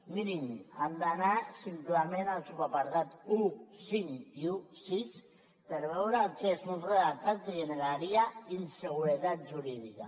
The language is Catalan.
mirin han d’anar simplement al subapartat quinze i setze per veure el que és un redactat que generaria inseguretat jurídica